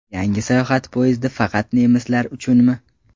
Yangi sayohat poyezdi faqat nemislar uchunmi?.